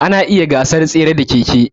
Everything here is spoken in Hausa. Ana iya gasar tsere da keke.